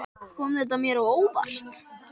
Kom þetta mér á óvart?